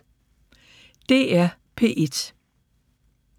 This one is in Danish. DR P1